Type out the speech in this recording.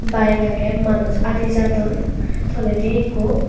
bike aagay manuj adijadon tolaydi ekko.